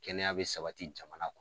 Kɛnɛya bɛ sabati jamana kɔnɔ.